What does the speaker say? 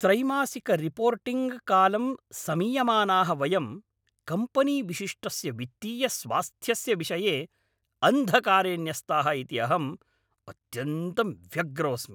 त्रैमासिकरिपोर्टिङ्ग्कालं समीयमानाः वयं कम्पनीविशिष्टस्य वित्तीयस्वास्थ्यस्य विषये अन्धकारे न्यस्ताः इति अहम् अत्यन्तं व्यग्रोऽस्मि।